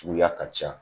Suguya ka ca